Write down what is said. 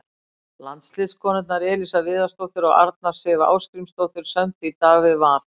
Landsliðskonurnar Elísa Viðarsdóttir og Arna Sif Ásgrímsdóttir sömdu í dag við Val.